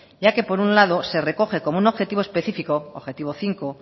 ya que por un lado se recoge como un objetivo específico objetivo cinco